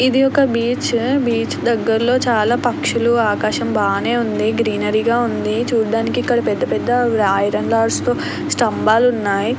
ఇది ఒక beach. Beach దగ్గరలో చాలా పక్షులు ఆకాశం బానే ఉంది. గ్రీనారీ గా ఉంది. చూడడానికి ఇక్కడ పెద్ద పెద్ద ఐరన్ రాడ్స్ తో స్తంభాలు ఉన్నాయి.